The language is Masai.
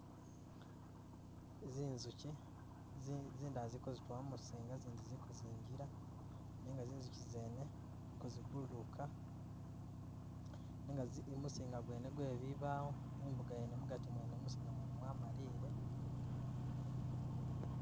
Zinzukyi zi- zindala ziliko zitula mumuzinga zindala ziliko zingila nenga zinzukyi zene zili ko zibululuka nenga muzinga mwene gwe bibawo imbuka yene mugati mwene mumu zinga mwene mwa maliye